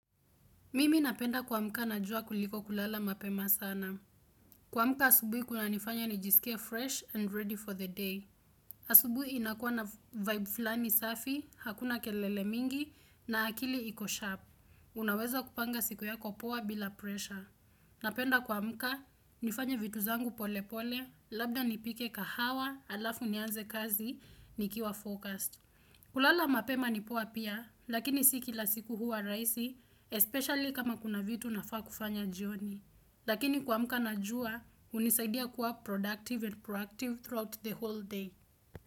Mimi napenda kuamka na jua kuliko kulala mapema sana. Kuamka asubuhi kunanifanya nijisikie fresh and ready for the day. Asubuhi inakua na vibe fulani safi, hakuna kelele mingi, na akili iko sharp. Unaweza kupanga siku yako poa bila pressure. Napenda kuamka nifanye vitu zangu pole pole, labda nipike kahawa, alafu nianze kazi, nikiwa focused. Kulala mapema nipoa pia, lakini sio kila siku hua rahisi, especially kama kuna vitu nafaa kufanya jioni. Lakini kuamka na jua, hunisaidia kuwa productive and proactive throughout the whole day.